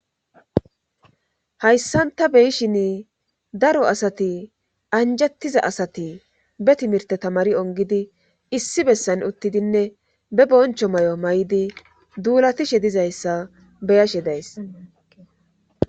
hayssanta beyishin daro asati anjattiza asati be timirte tamari ongidi issi bessan uttidinne be boncho may7o may7idi duulatishe dizayssa beyashe days